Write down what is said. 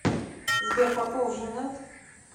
сбер попов женат